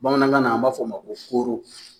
Bamanankan na an b'a fɔ a ma ko kooro